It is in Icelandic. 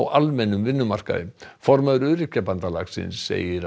almennum vinnumarkaði formaður Öryrkjabandalagsins segir